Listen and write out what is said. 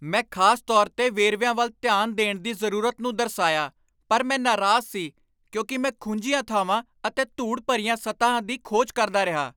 ਮੈਂ ਖ਼ਾਸ ਤੌਰ 'ਤੇ ਵੇਰਵਿਆਂ ਵੱਲ ਧਿਆਨ ਦੇਣ ਦੀ ਜ਼ਰੂਰਤ ਨੂੰ ਦਰਸਾਇਆ ਪਰ ਮੈਂ ਨਾਰਾਜ਼ ਸੀ ਕਿਉਂਕਿ ਮੈਂ ਖੁੰਝੀਆਂ ਥਾਵਾਂ ਅਤੇ ਧੂੜ ਭਰੀਆਂ ਸਤਹਾਂ ਦੀ ਖੋਜ ਕਰਦਾ ਰਿਹਾ।